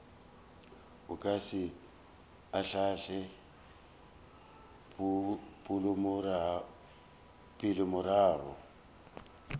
o ka se ahlaahle poelomorago